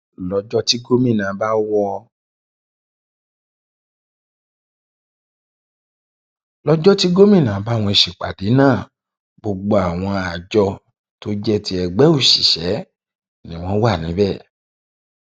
lọjọ tí gómìnà bá wọn ṣèpàdé náà gbogbo àwọn àjọ tó jẹ ti ẹgbẹ òṣìṣẹ ni wọn wà níbẹ